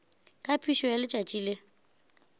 ka phišo ya letšatši le